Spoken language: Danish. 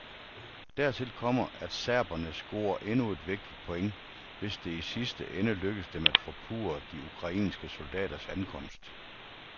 Dertil kommer, at serberne scorer endnu et vigtigt point, hvis det i sidste ende lykkes dem at forpurre de ukrainske soldaters ankomst.